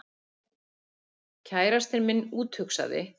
Kærastinn minn úthugsaði